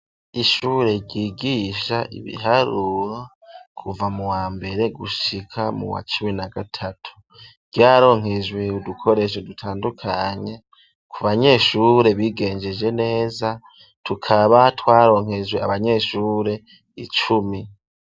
Ishure ryigisha ibiharuro kuva mu wa mbere gushika mu wa cumi na gatatu, ryaronkejwe udukoresho dutandukanye ku banyeshure bigenjeje neza tukaba twaronkejwe abanyeshure icumi.